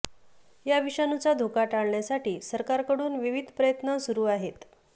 या विषाणूचा धोका टाळण्यासाठी सरकारकडून विविध प्रयत्न सुरु आहेत